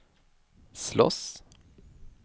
slåss